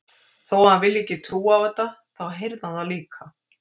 Þó að hann vilji ekki trúa á þetta, þá heyrði hann það líka.